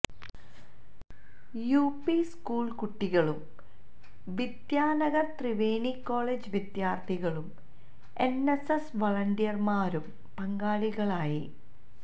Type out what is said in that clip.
UP school കുട്ടികളും Vidyanagar Triveni college വിദ്യാർഥികളും NSS വളണ്ടിയർമാരും പങ്കാളികളായി